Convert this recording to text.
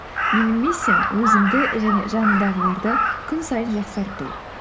менің миссиям өзімді және жанымдағыларды күн сайын жақсарту